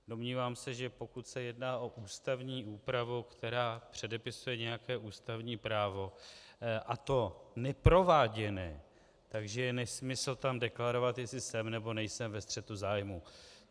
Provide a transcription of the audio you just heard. Domnívám se, že pokud se jedná o ústavní úpravu, která předepisuje nějaké ústavní právo, a to neprováděné, že je nesmysl tam deklarovat, jestli jsem, nebo nejsem ve střetu zájmů.